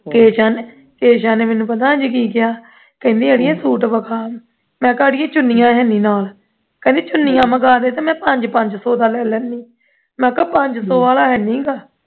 ਦੇਸ਼ਾਂ ਨੇ ਦੇਸ਼ਾਂ ਨੇ ਪਤਾ ਮੈਨੂੰ ਅੱਜ ਕੀ ਕਿਹਾ, ਕਹਿੰਦੀ ਅੜੀਏ ਸੂਟ ਵਿਖਾਓ ਮੈਂ ਕਿਹਾ ਅੜੀਏ ਚੁੰਨੀਆਂ ਹੈ ਨਹੀਂ ਨਾਲ ਕਹਿੰਦੀ ਚੁੰਨੀਆਂ ਮੰਗਾਂ ਦੀ ਧੀ ਮੈਂ ਪੰਜ ਪੰਜ ਸੌ ਦਾ ਲੈ ਲੈਨੀ ਹਾਂ ਮੈਂ ਕਿਹਾ ਪੰਜ ਸੌ ਵਾਲਾ ਹੈ ਨਹੀਂ ਗਾ